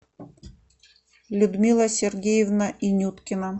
людмила сергеевна инюткина